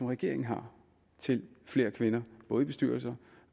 regeringen har til flere kvinder både i bestyrelser